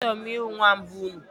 Achọrọ m ihu nwamba unu